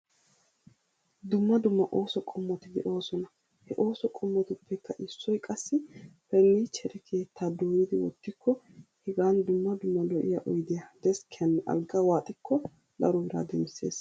Dumma dumma ooso qommoti de'oosona. He ooso qommotuppekka issoy qassi pernniichchere keettaa dooyidi oottikko hegan dumma dumma lo'iya oydiya deskkiyanne alggaa waaxikko daro biraa demissees.